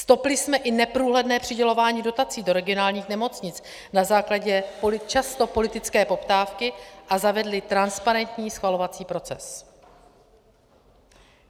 Stopli jsme i neprůhledné přidělování dotací do regionálních nemocnic na základě často politické poptávky a zavedli transparentní schvalovací proces.